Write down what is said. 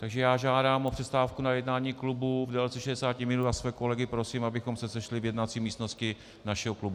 Takže já žádám o přestávku na jednání klubu v délce 60 minut a své kolegy prosím, abychom se sešli v jednací místnosti našeho klubu.